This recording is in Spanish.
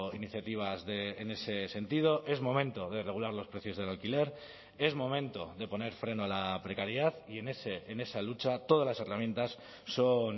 iniciativas en ese sentido es momento de regular los precios del alquiler es momento de poner freno a la precariedad y en esa lucha todas las herramientas son